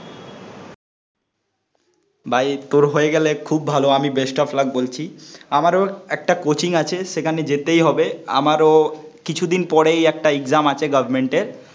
ভাই তোর হয়ে গেলে খুব ভালো আমি বেস্ট অফ লাক বলছি, আমারও একটা কোচিং আছে সেখানে যেতেই হবে, আমারও কিছুদিন পরেই একটা এক্সাম আছে গভর্নমেন্ট এর